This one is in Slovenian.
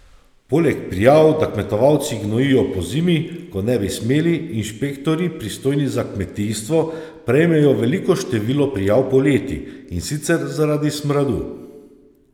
Poleg prijav, da kmetovalci gnojijo pozimi, ko ne bi smeli, inšpektorji, pristojni za kmetijstvo, prejmejo veliko število prijav poleti, in sicer zaradi smradu.